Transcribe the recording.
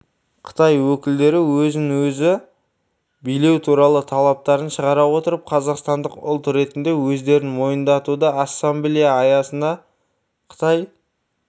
қытай өкілдері өзін-өзі билеу туралы талаптарын шығара отырып қазақстандық ұлт ретінде өздерін мойындатуды ассамблея аясында қытай